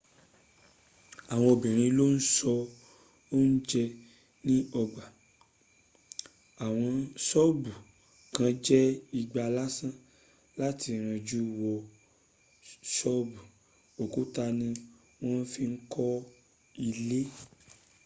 àwọn obìrin ló n s’oúnjẹ ní ọgbà àwọn ṣọ́bù kàn jẹ́ igbá lásán tón ranjú wo títí. òkúta ní wọ́n fi ń kọ́ ilé